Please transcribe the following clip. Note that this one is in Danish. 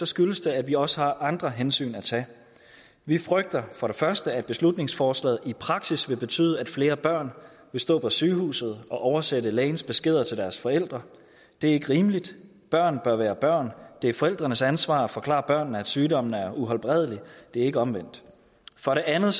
skyldes det at vi også har andre hensyn at tage vi frygter for det første at beslutningsforslaget i praksis vil betyde at flere børn vil stå på sygehuset og oversætte lægens beskeder til deres forældre det er ikke rimeligt børn bør være børn det er forældrenes ansvar at forklare børnene at sygdommene er uhelbredelige det er ikke omvendt for det andet